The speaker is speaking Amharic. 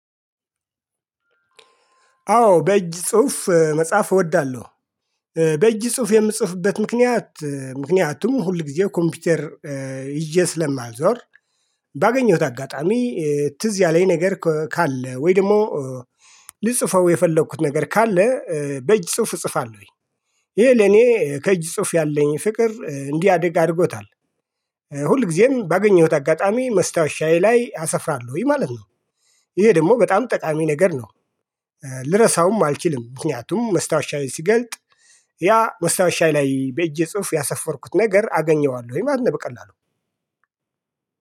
አዎ በእጅ ጽሁፍ መጽሐፍ እወዳለሁ። በእጅ ጽሁፍ የምጽፍበት ምክንያት ምክንያቱም ሁል ጊዜ ኮምፒውተር ይዤ ስለማልዞር። ባገኘሁት አጋጣሚ ትዝ ያለኝ ነገር ካለ ወይ ደግሞ። ልጽፈው የፈለኩት ነገር ካለ በእጅ ጽሁፍ እጽፋለሁኝ። ይሄ ለኔ ከእጅ ጽሁፍ ያለኝ ፍቅር እንዲያድግ አድርጎታል። ሁል ጊዜም ባገኘሁት አጋጣሚ መስታወሻዬ ላይ አሰፍራለሁኝ ማለት ነው። ይሄ ደግሞ በጣም ጠቃሚ ነገር ነው። ልረሳውም አልችልም። ምክንያቱም መስታወሻዬ ሲገልጥ። ያ መስታወሻዬ ላይ በእጄ ጽሁፍ ያሰፈርኩት ነገር አገኘዋለሁኝ ማለት ነው በቀላሉ